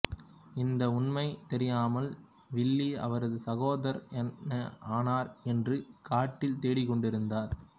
இந்த உண்மை தெரியாமல் வில்லி அவரது சகோதரர் என்ன ஆனார் என்று காட்டில் தேடிக் கொண்டு இருந்தார்